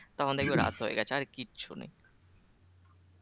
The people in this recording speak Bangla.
তখন দেখবে রাত হয়ে গেছে আর কিচ্ছু নেই